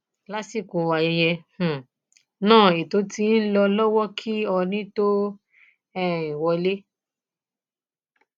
lásìkò ayẹyẹ um náà ètò ti ń lọ lọwọ kí oónì tóó um wọlé